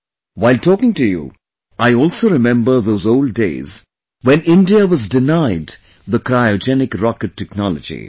While talking to you, I also remember those old days, when India was denied the Cryogenic Rocket Technology